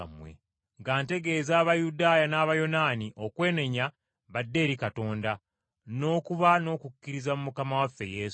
nga ntegeeza Abayudaaya n’Abayonaani okwenenya badde eri Katonda, n’okuba n’okukkiriza mu Mukama waffe Yesu.